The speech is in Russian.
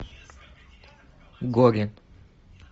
горе